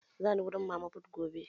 Zani wurin mama fut gobe